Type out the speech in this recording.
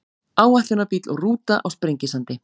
áætlunarbíll og rúta á sprengisandi